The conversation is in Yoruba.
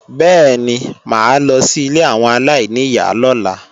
Bẹ́ẹ̀ni mà á lọ sí ilé àwọn aláìníyá lọ́la